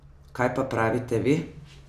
Kaj pa pravite vi?